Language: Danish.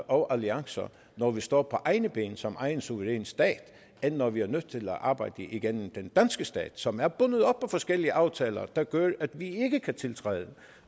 og alliancer når vi står på egne ben som egen suveræn stat end når vi er nødt til at arbejde igennem den danske stat som er bundet op på forskellige aftaler der gør at vi ikke kan tiltræde